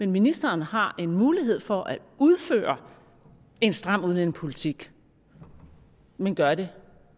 ministeren har en mulighed for at udføre en stram udlændingepolitik men gør det